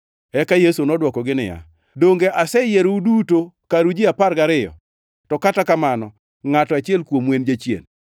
Eka Yesu nodwokogi niya, “Donge aseyierou duto karu ji apar gariyo, to kata kamano, ngʼato achiel kuomu en jachien!”